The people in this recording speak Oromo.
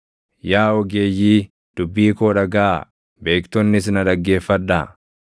“Yaa ogeeyyii, dubbii koo dhagaʼaa; beektonnis na dhaggeeffadhaa.